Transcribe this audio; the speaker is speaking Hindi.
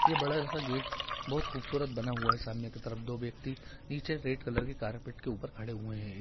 यह बड़ा सा गेट बहुत खूबसूरत बना हुआ है सामने के तरफ दो व्यक्ति नीचे रेड कलर के कार्पेट के ऊपर खड़े हुए हैं।